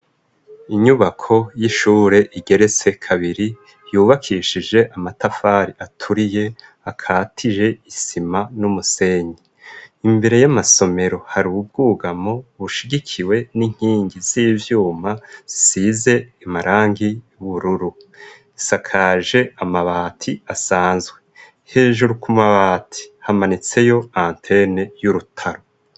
Inyubako y'ishure igeretse kabiri ,yubakishije amatafari aturiye ,akatije isima n'umusenyi ,imbere y'amasomero ,hari ububwugamo bushigikiwe n'inkingi z'ivyuma, zisize amarangi y'ubururu, isakaje amabati asanzwe ,hejuru ku mabati hamanitseyo antene y'urutaro.